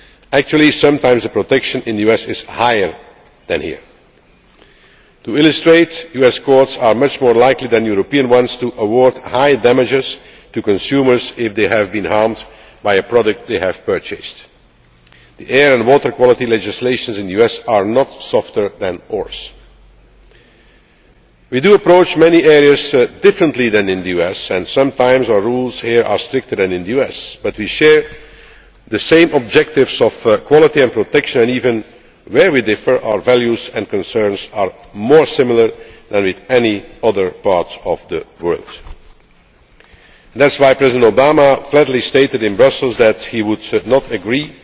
Actually, sometimes protection in the US is higher than here. To illustrate US courts are much more likely than European ones to award high damages to consumers if they have been harmed by a product they have purchased. The air and water quality legislation in the US is not softer than ours. We do approach many areas in a different way from that in the US and sometimes our rules here are stricter than in the US but we share the same objectives of quality and protection and, even where we differ, our values and concerns are more similar than with any other parts of the world. That is why President Obama flatly stated in Brussels that he would